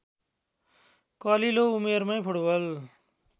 कलिलो उमेरमै फुटबल